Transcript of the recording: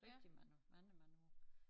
Rigtig mange mange mange år